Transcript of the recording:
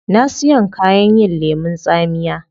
Na siyon kayan yin lemun tsamiya